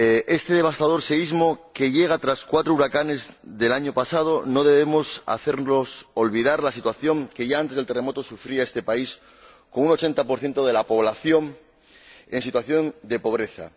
Este devastador seísmo, que llega tras los cuatro huracanes del año pasado, no debe hacernos olvidar la situación que ya antes del terremoto sufría este país, con un 80 de la población en situación de pobreza.